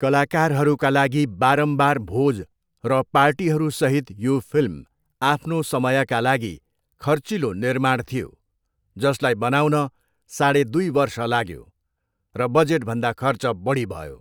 कलाकारहरूका लागि बारम्बार भोज र पार्टीहरूसहित यो फिल्म आफ्नो समयका लागि खर्चिलो निर्माण थियो, जसलाई बनाउन साढे दुई वर्ष लाग्यो, र बजेटभन्दा खर्च बढी भयो।